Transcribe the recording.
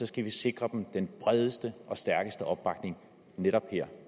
skal vi sikre dem den bredeste og stærkeste opbakning netop her